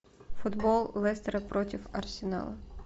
футбол лестера против арсенала